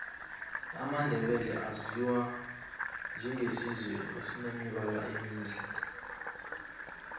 amandebele aziwa njenge sizwe esinemibala emihle